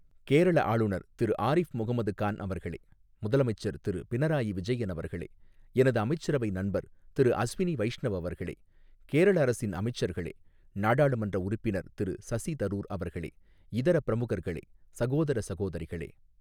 கேரள ஆளுநர் திரு ஆரிஃப் முகமது கான் அவர்களே, முதலமைச்சர் திரு பினராயி விஜயன் அவர்களே, எனது அமைச்சரவை நண்பர் திரு அஸ்வினி வைஷ்ணவ் அவர்களே, கேரள அரசின் அமைச்சர்களே, நாடாளுமன்ற உறுப்பினர் திரு சசி தரூர் அவர்களே, இதர பிரமுகர்களே, சகோதர சகோதரிகளே.